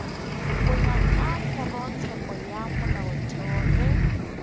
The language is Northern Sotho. wa kgorotsheko ya molaotheo ge